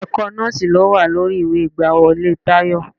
Ẹ̀kọ́ nọ́ọ̀sì ló wà lórí ìwé ìgbàwọlé Tayọ.